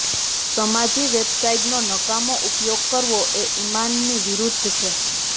સમાજી વેબસાઇટનો નકામો ઉપયોગ કરવો એ ઇમાનની વિરૂદ્ધ છે